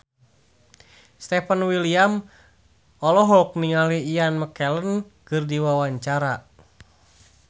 Stefan William olohok ningali Ian McKellen keur diwawancara